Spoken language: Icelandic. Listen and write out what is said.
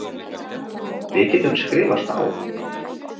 Við getum skrifast á.